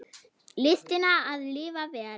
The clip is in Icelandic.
Listina að lifa vel.